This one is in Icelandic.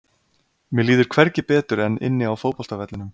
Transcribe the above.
Mér líður hvergi betur en inni á fótboltavellinum.